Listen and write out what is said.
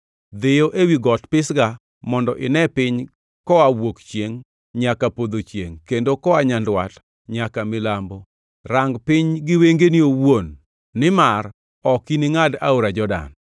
Dhiyo ewi got Pisga mondo ine piny koa wuok chiengʼ nyaka podho chiengʼ kendo koa nyandwat nyaka milambo. Rang piny gi wengeni owuon, nimar ok iningʼad aora Jordan.